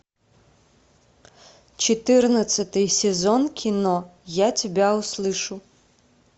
четырнадцатый сезон кино я тебя услышу